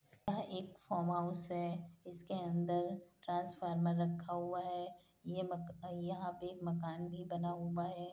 यह एक farm house है। इसके अंदर ट्रांसफॉर्मर रखा हुआ है। ये मक यहां पे एक मकान भी बना हुआ है।